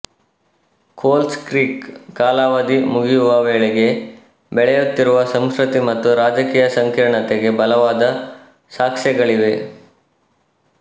ಕೋಲ್ಸ್ Creek ಕಾಲಾವಧಿ ಮುಗಿಯುವ ವೇಳೆಗೆ ಬೆಳೆಯುತ್ತಿರುವ ಸಂಸ್ಕೃತಿ ಮತ್ತು ರಾಜಕೀಯ ಸಂಕೀರ್ಣತೆಗೆ ಬಲವಾದ ಸಾಕ್ಷ್ಯಗಳಿವೆ